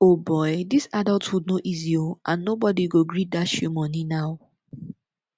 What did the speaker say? o boy dis adulthood no easy oo and nobody go gree dash you money now